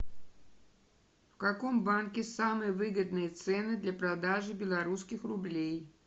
в каком банке самые выгодные цены для продажи белорусских рублей